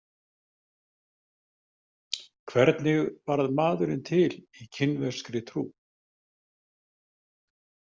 Hvernig varð maðurinn til í kínverskri trú?